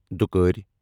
دُھوکار